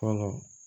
Fɔlɔ